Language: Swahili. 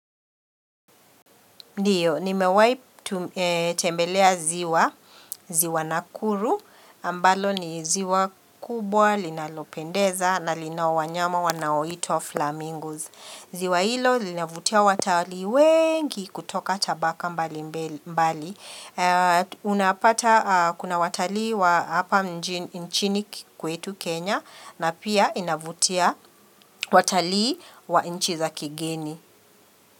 Ndiyo, nimewahi tembelea ziwa, ziwa nakuru, ambalo ni ziwa kubwa, linalopendeza, na linao wanyama wanao itwa flamingos. Ziwa hilo, linavutia watalii wengi kutoka tabaka mbali mbali. Unapata, kuna watalii wa hapa nchini kwetu Kenya, na pia inavutia watalii wa nchi za kigeni.